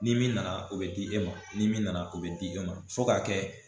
Ni min nana o bɛ di e ma ni min nana o bɛ di e ma fo k'a kɛ